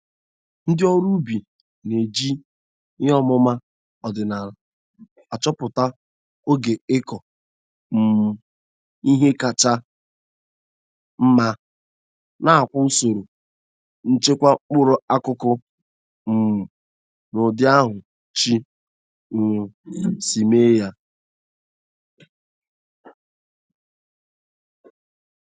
Ndị ọrụ ubi.na-eji ihe ọmụma ọdịnala achọpụta oge ịkọ um ihe kacha mma, nakwa usoro nchekwa mkpụrụ akụkụ um n'ụdị ahụ Chi um si.meeya.